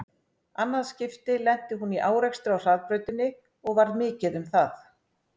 Annað skipti lenti hún í árekstri á hraðbrautinni og varð mikið um það.